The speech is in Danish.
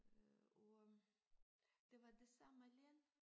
Øh og øh det var det samme land